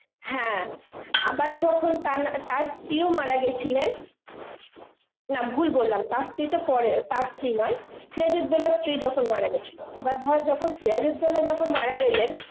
হ্যাঁ আবার যখন তার~ তার স্ত্রীও মারা গেছিলেন, না ভুল বললাম, তার স্ত্রী তো পরে, তার স্ত্রী নয়, সিরাজ উদ্দৌলার স্ত্রী যখন মারা গেছিল, এবার ধর যখন সিরাজ উদ্দৌলা যখন মারা গেলেন,.